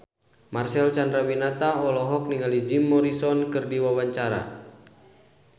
Marcel Chandrawinata olohok ningali Jim Morrison keur diwawancara